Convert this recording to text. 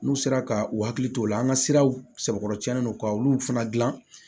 N'u sera ka u hakili t'o la an ka siraw sɛbɛkɔrɔsɛn no ka olu fana dilan